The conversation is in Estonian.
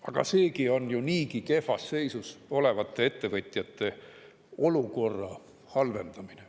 Aga seegi on ju niigi kehvas seisus olevate ettevõtjate olukorra halvendamine.